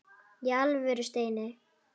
Í alvöru, Steini.